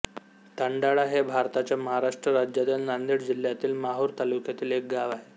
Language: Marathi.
तांडाळा हे भारताच्या महाराष्ट्र राज्यातील नांदेड जिल्ह्यातील माहूर तालुक्यातील एक गाव आहे